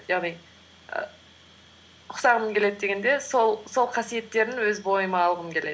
яғни і ұқсағым келеді дегенде сол қасиеттерін өз бойыма алғым келеді